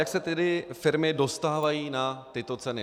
Jak se tedy firmy dostávají na tyto ceny?